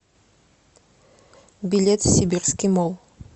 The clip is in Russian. билет сибирский молл